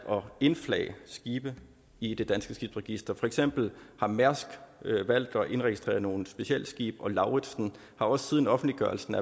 indflage skibe i det danske skibsregister for eksempel har mærsk valgt at indregistrere nogle specialskibe og lauritzen har også siden offentliggørelsen